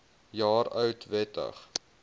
jaar oud wettig